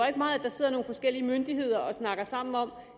ikke meget at der sidder nogle forskellige myndigheder og snakker sammen om